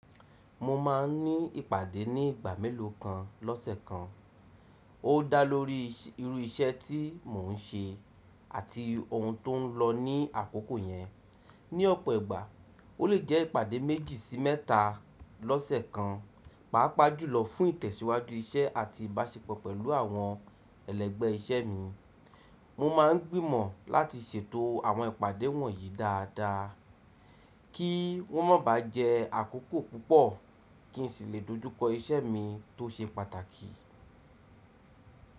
Mo máa ń ní ìpàdé ní ìgbà mélòó gán lọ́sẹ̀ kan. Ó dá lórí irú iṣẹ́ tí mò ń ṣe àti ohun tó ń lọ ní àkókò yẹn. Ní ọ̀pọ̀ ìgbà, ó lè jẹ́ ìpàdé méjì sí mẹ́ta lọ́sẹ̀ kan. Pàápaá jùlọ fún ìtẹ́síwájú iṣẹ́ àti ìbáṣepọ̀ pẹ̀lú àwọn ẹlẹ́gbẹ́ iṣẹ́ mi, mo máa ń gbìmọ̀ láti ṣètò àwọn ìpàdé wọ̀nyí dáadáa, kí wọ́n má ba jẹ àkókò púpọ̀, kí n sì lè dojúkọ iṣẹ́ mi tó ṣe pàtàkì.